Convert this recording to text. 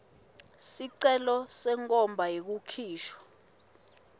sicelo senkhomba yekukhishwa